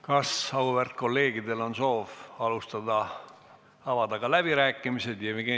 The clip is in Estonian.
Kas auväärt kolleegidel on soov pidada ka läbirääkimisi?